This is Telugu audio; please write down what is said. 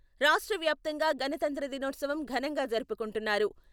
రాష్ట్ర వ్యాప్తంగా గణతంత్ర దినోత్సవం ఘనంగా జరుపుకుంటున్నారు.